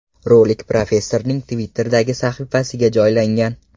Rolik professorning Twitter’dagi sahifasiga joylangan .